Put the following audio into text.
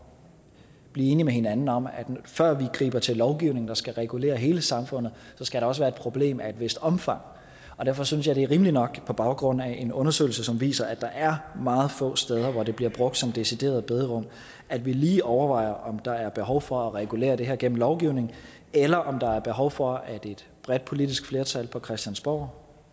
blive enige med hinanden om at før vi griber til lovgivning der skal regulere hele samfundet skal der også være et problem af et vist omfang derfor synes jeg det er rimeligt nok på baggrund af en undersøgelse som viser at der er meget få steder hvor det bliver brugt som decideret bederum at vi lige overvejer om der er behov for at regulere det her gennem lovgivning eller om der er behov for at et bredt politisk flertal på christiansborg